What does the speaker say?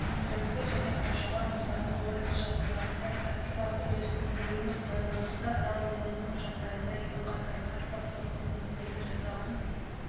өнімділікті және қоршаған ортаның қолайсыз жағдайларында практикалық үйлесімділігімен байланысты арал өңірінің жағдайында екі қатарлы арпа сортының моделін жасаған